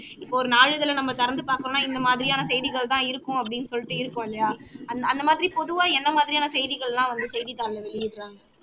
இப்போ நாளிதழை நம்ம திறந்து பார்த்தோம்னா இந்த மாதிரியான செய்திகள் தான் இருக்கும் அப்படின்னு சொல்லிட்டு இருக்கும் இல்லையா அந்த அந்த மாதிரி பொதுவா எந்த மாதிரியான செய்திகள் எல்லாம் வந்து செய்தித்தாளில வெளியிடுறாங்க